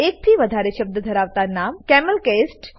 એકથી વધારે શબ્દ ધરાવતા નામ કેમેલકેસ્ડ હોવા જોઈએ